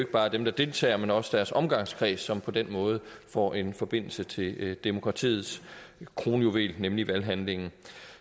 bare er dem der deltager men også deres omgangskreds som på den måde får en forbindelse til demokratiets kronjuvel nemlig valghandlingen